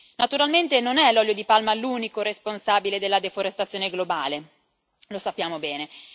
Naturalmente non è l'olio di palma l'unico responsabile della deforestazione globale, lo sappiamo bene.